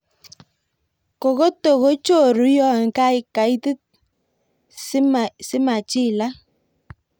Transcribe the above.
Kokoto kochoru yon kaitit simachilak.